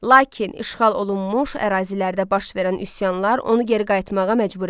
Lakin işğal olunmuş ərazilərdə baş verən üsyanlar onu geri qayıtmağa məcbur elədi.